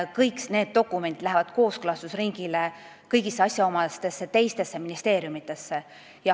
Kõik need dokumendid lähevad kõigisse teistesse asjaomastesse ministeeriumidesse kooskõlastusringile.